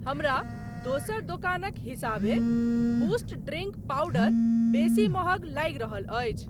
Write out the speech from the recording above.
हमरा दोसर दोकानक हिसाबे बूस्ट ड्रींक पावडर बेसी महग लागि रहल अछि।